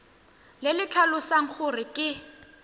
le le tlhalosang gore ke